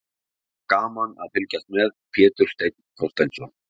Gaman að fylgjast með: Pétur Steinn Þorsteinsson.